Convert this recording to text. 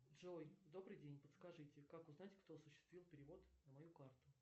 джой добрый день подскажите как узнать кто осуществил перевод на мою карту